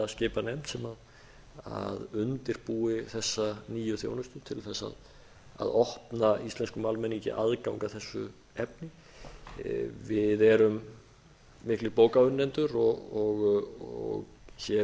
að skipa nefnd sem undirbúi þessa nýju þjónustu til að opna íslenskum almenningi aðgang að þessu efni við erum miklir bókaunnendur og hér